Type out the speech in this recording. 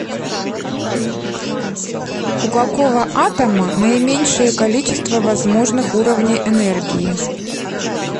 у какого атома наименьшее количество возможных уровней энергии